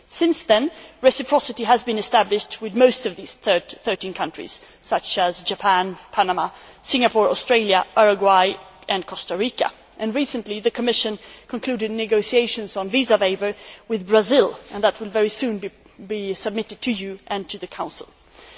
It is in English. Since then, reciprocity has been established with most of these 13 countries, such as Japan, Panama, Singapore, Australia, Uruguay and Costa Rica, and recently the Commission concluded negotiations on a visa waiver with Brazil, and that will be submitted to you and to the Council very soon.